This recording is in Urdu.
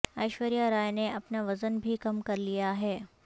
ایشوریہ رائے نے اپنا وزن بھی کم کر لیا ہے